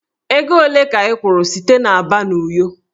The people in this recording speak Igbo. Ego ole ka ị kwụrụ site Aba na Uyo?